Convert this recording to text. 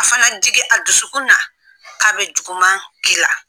A fana jigin. a dusukun na k'a bɛ juguman ki la